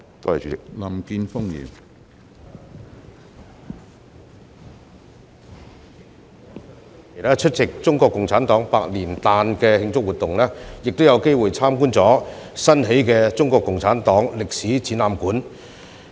我有份出席中國共產黨百年誕的慶祝活動，亦有機會參觀新建的中國共產黨歷史展覽館。